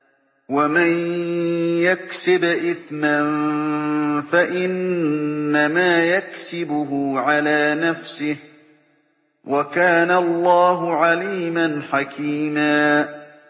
وَمَن يَكْسِبْ إِثْمًا فَإِنَّمَا يَكْسِبُهُ عَلَىٰ نَفْسِهِ ۚ وَكَانَ اللَّهُ عَلِيمًا حَكِيمًا